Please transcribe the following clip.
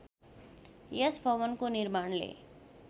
यस भवनको निर्माणले